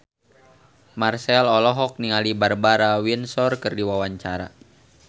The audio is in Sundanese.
Marchell olohok ningali Barbara Windsor keur diwawancara